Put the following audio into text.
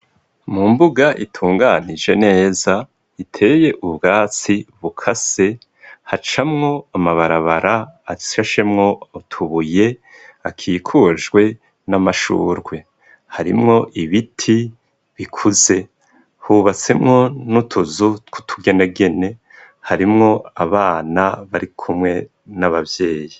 Mu mbuga itunganije neza iteye ubwatsi bukase, hacamwo amabarabara ashashemwo utubuye akikujwe n'amashugwe. Harimwo ibiti bikuze, hubatswemwo n'utuzu tw'utugenegene harimwo abana bari kumwe n'abavyeyi.